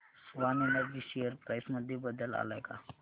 Swan energy share price मध्ये बदल आलाय का